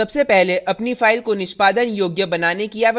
सबसे पहले अपनी file को निष्पादन योग्य बनाने की आवश्यकता है